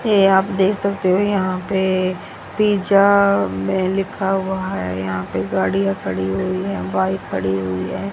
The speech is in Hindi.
ये आप देख सकते हो यहां पे पिज़्ज़ा में लिखा हुआ है यहां पे गाड़ियां खड़ी हुई है बाइक खड़ी हुई है।